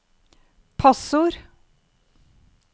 passord